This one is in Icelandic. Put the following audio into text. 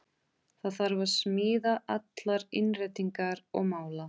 Það þarf að smíða allar innréttingar og mála.